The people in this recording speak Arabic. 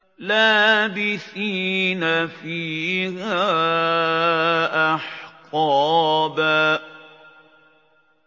لَّابِثِينَ فِيهَا أَحْقَابًا